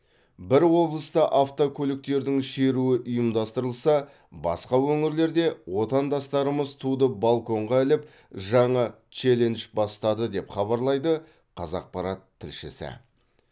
бір облыста автокөліктердің шеруі ұйымдастырылса басқа өңірлерде отандастарымыз туды балконға іліп жаңа челлендж бастады деп хабарлайды қазақпарат тілшісі